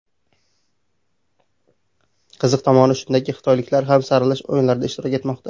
Qiziq tomoni shundaki, xitoyliklar ham saralash o‘yinlarida ishtirok etmoqda.